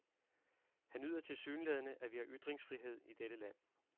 Han nyder tilsyneladende, at vi har ytringsfrihed i dette land.